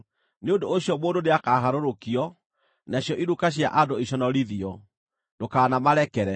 Nĩ ũndũ ũcio mũndũ nĩakaharũrũkio, nacio iruka cia andũ iconorithio; ndũkanamarekere.